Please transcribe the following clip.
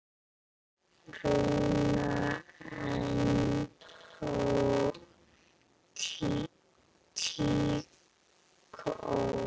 Rúnar: En tíkó?